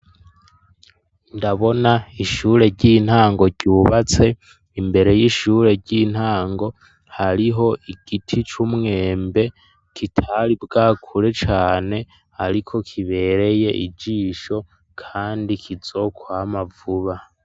Ndabona ishure ry'intango ryubatse imbere y'ishure ry'intango, hariho igiti c'umwembe kitari bwakure cane, ariko kibereye ijisho kandi kizokwama vuba.